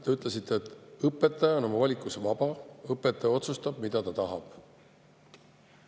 Te ütlesite, et õpetaja on oma valikus vaba, õpetaja otsustab, mida ta tahab.